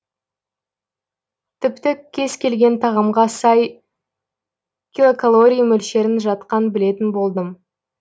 тіпті кез келген тағамға сай килокалории мөлшерін жатқа білетін болдым